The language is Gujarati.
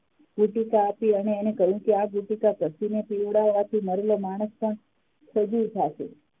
આપી અને એને કહ્યું કે આ પીવડાવાથી મરેલો માણસ પણ સજીવ થશે